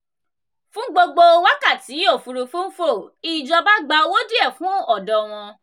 fún gbogbo wákàtí òfúrufú ń fò ìjọba gba owó díẹ̀ fún ọ̀dọ̀ wọn.